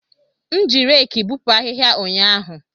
M ji reekị bupu ahihia ụnyaahụ.